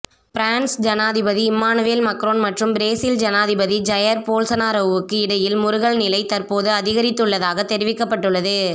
France ஜனாதிபதி Emmanuel Macron மற்றும் Brazil ஜனாதிபதி ஜயர் போல்சனாரோவுக்கு இடையில் முறுகல் நிலை தற்போது அதிகரித்துள்ளதாக தெரிவிக்கப்பட்டுள்ளது